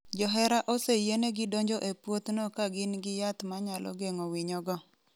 Johera oseyienegi donjo e puothno ka gin gi yath ma nyalo geng’o winyogo.